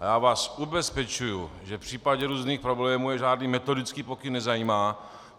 A já vás ubezpečuji, že v případě různých problémů je žádný metodický pokyn nezajímá.